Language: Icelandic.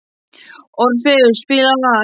Orfeus, spilaðu lag.